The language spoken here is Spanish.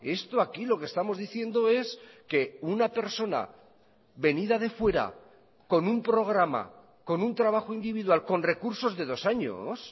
esto aquí lo que estamos diciendo es que una persona venida de fuera con un programa con un trabajo individual con recursos de dos años